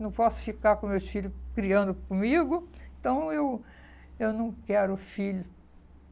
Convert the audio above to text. Não posso ficar com meus filhos criando comigo, então eu eu não quero filho.